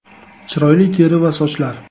Chiroyli teri va sochlar .